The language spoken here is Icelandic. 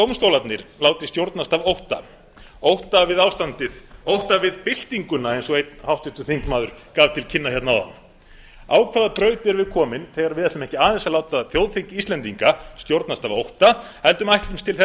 dómstólarnir láti stjórnast af ótta ótta við ástandið ótta við byltinguna eins og einn háttvirtur þingmaður gaf til kynna hérna áðan á hvaða braut erum við komin þegar við ætlum ekki aðeins að láta þjóðþing íslendinga stjórnast af ótta heldur ætlumst til